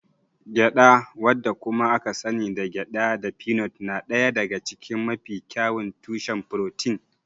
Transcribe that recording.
Gyada wadda kuma aka sani da gyada da pignut na ɗaya daga cikin mafi kyawun tushen furotin.